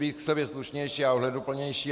Být k sobě slušnější a ohleduplnější.